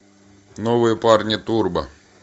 новые парни турбо